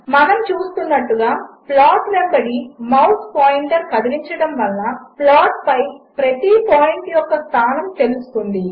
మనముచూస్తున్నట్టుగా ప్లాట్వెంబడిమౌస్పాయింటర్కదిలించడమువలనప్లాట్పైప్రతిపాయింట్యొక్కస్థానముతెలుస్తుంది